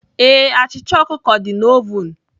Ee, achịcha ọkụkọ dị na oven